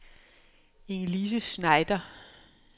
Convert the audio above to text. Inge-Lise Schneider